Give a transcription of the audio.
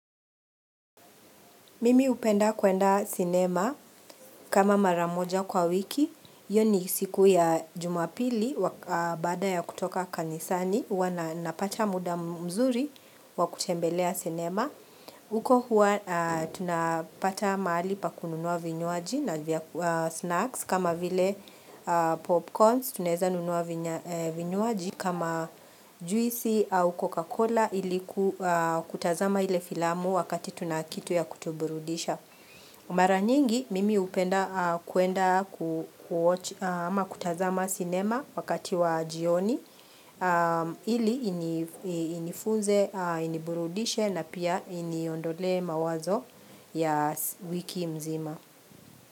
Mimi upenda kwenda cinema kama maramoja kwa wiki, yoni siku ya jumapili bada ya kutoka kanisani, uwa napata muda mzuri wakutembelea cinema. Uko huwa tunapata mahali pa kununua vinyoaji na snacks kama vile popcorns tuneza nunua vinyoaji kama juisi au Coca-Cola iliku kutazama ile filamu wakati tunakitu ya kutuburudisha. Mara nyingi mimi upenda kuenda kutazama cinema wakati wa jioni ili inifuze iniburudishe na pia iniondole mawazo ya wiki mzima.